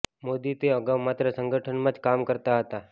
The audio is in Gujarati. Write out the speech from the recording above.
મોદી તે અગાઉ માત્ર સંગઠનમાં જ કામ કરતા હતાં